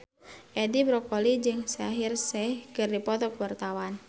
Edi Brokoli jeung Shaheer Sheikh keur dipoto ku wartawan